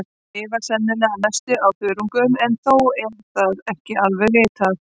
Þær lifa sennilega að mestu á þörungum en þó er það ekki alveg vitað.